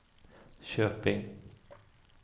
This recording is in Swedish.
Köping